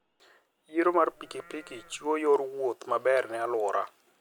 Yiero mar pikipiki chiwo yor wuoth maber ne alwora.